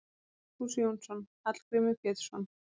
Vigfús Jónsson: Hallgrímur Pétursson